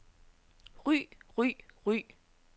ry ry ry